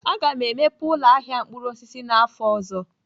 Aga m emepe ụlọ ahịa mkpụrụ osisi n'afọ ọzọ.